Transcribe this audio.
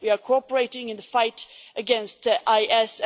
we are cooperating in the fight against IS